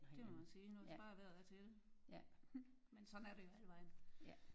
Det må man sige nu hvis bare vejret er til det men sådan er det jo alle vegne